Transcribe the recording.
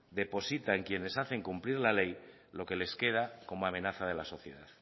deposita en quienes hacen cumplir la ley lo que les queda como amenaza de la sociedad